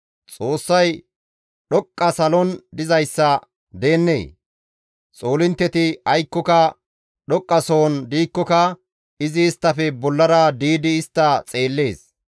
«Xoossay dhoqqa salon dizayssa gidennee? Xoolintteti aykkoka dhoqqasohon diikkoka izi isttafe bollara diidi istta xeellees.